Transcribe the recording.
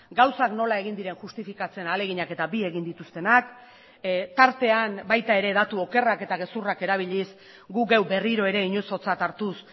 gauzak nola egin diren justifikatzen ahaleginak eta bi egin dituztenak tartean baita ere datu okerrak eta gezurrak erabiliz gu geu berriro ere inozotzat hartuz